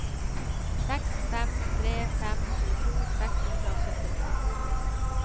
seks fem tre fem tjueto seks hundre og syttini